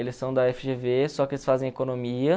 Eles são da éfe gê vê, só que eles fazem economia.